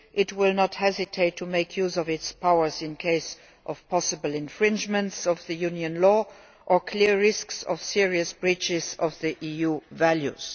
It will not hesitate to make use of its powers in cases of possible infringement of Union law or clear risks of serious breaches of EU values.